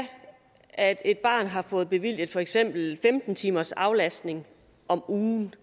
at et barn har fået bevilget for eksempel femten timers aflastning om ugen